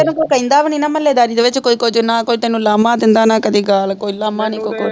ਤੈਨੂੰ ਕੋਈ ਕਹਿੰਦਾ ਵੀ ਨਹੀਂ ਨਾ ਮਹੱਲੇ ਦਾਰੀ ਦੇ ਵਿੱਚ ਕੋਈ ਕੁਝ ਨਾ ਕੋਈ ਤੈਨੂੰ ਲਾਮਾ ਦਿੰਦਾ ਨਾ ਕਦੇ ਗਾਲ ਕੋਈ ਲਾਮਾ ਨੀ ਕੋਈ ਕੁਛ ਨੀ